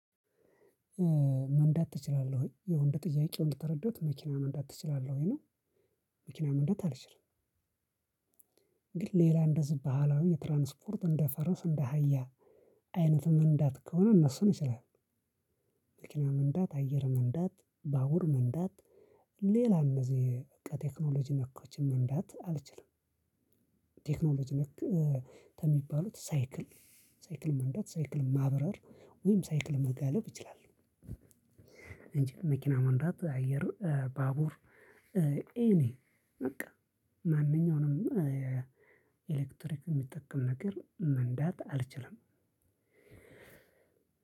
መንዳት ትችላለህ ወይ? የወንድ ጥያቄውን እንደተረዳሁት መኪና መንዳት ትችላለህ ወይ ነው። መኪና መንዳት አልችልም። ግን ሌላ እንደዝህ ባህላዊ የትራንስፖርት እንደ ፈረስ እንደ አህያ አይነትም መንዳት ከሆነ እነሱን እችላለው። መኪና መንዳት አየር መንዳት በባቡር መንዳት ሌላ እነዚህ ቴክኖሎጂ ነኮችን መንዳት አልችልም። ቴክኖሎጂ ነክ ከሚባሉት ሳይክል ሳይክል መንዳት ሳይክል ማብረር ወይም ሳይክል መጋለብ እችላለሁ። እንጂ መኪና መንዳት አየር ባቡር። ኤኒ በቃ ማንኛውንም ኤሌክትሪክ የሚጠቀም ነገር መንዳት አልችልም።